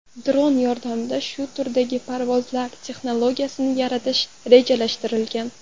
Dron yordamida shu turdagi parvozlar texnologiyasini yaratish rejalashtirilgan.